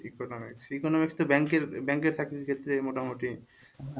economics economics তৌ ব্যাংকে ব্যাংকের চাকরির ক্ষেত্রে মোটামুটি,